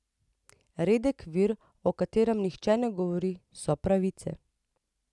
Redek vir, o katerem nihče ne govori, so pravice.